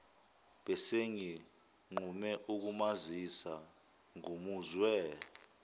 besenginqume ukumazisa ngimuzwe